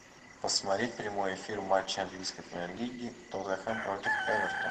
посмотреть прямой эфир матча английской премьер лиги тоттенхэм против эвертон